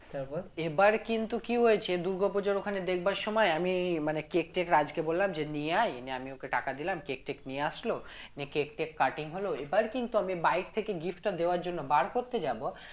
তারপর এবার কিন্তু কি হয়েছে দুর্গাপুজোর ওখানে দেখবার সময় আমি মানে কেক টেক রাজকে বললাম যে নিয়ে আয় নিয়ে আমি ওকে টাকা দিলাম কেক টেক নিয়ে আসলো নিয়ে কেক টেক cutting হল এবার কিন্তু আমি bike থেকে gift টা দেওয়ার জন্য বার করতে যাব